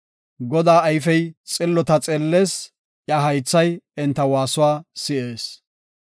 Godaa ayfey xillota xeellees; iya haythay enta waasuwa si7ees.